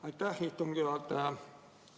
Aitäh, istungi juhataja!